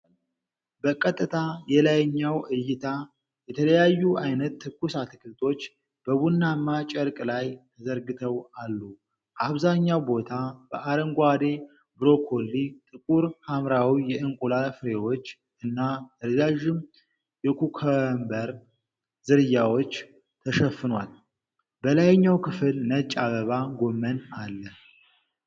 በቀጥታ የላይኛው እይታ፣ የተለያዩ አይነት ትኩስ አትክልቶች በቡናማ ጨርቅ ላይ ተዘርግተው አሉ። አብዛኛው ቦታ በአረንጓዴ ብሮኮሊ፣ ጥቁር ሐምራዊ የእንቁላል ፍሬዎች እና ረዣዥም የኩከምበር ዝርያዎች ተሸፍኗል። በላይኛው ክፍል ነጭ አበባ ጎመን አለ።